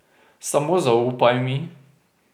Samo zaupaj mi.